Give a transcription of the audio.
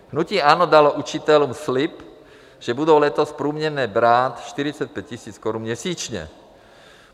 Hnutí ANO dalo učitelům slib, že budou letos průměrně brát 45 000 korun měsíčně.